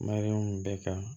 Mariyamu bɛɛ ka